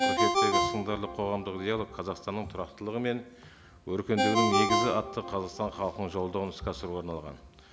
қыркүйектегі сындарлы қоғамдық диалог қазақстанның тұрақтылығы мен өркендеуінің негізі атты қазақстан халқына жолдауын іске асыруға арналған